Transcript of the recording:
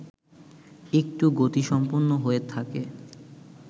একটু গতিসম্পন্ন হয়ে থাকে